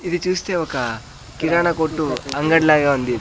ఇది చూస్తే ఒక కిరాణా కొట్టు అంగడిలాగే ఉంది.